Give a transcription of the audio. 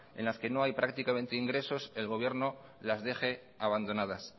en las que no hay prácticamente ingresos el gobierno las deje abandonadas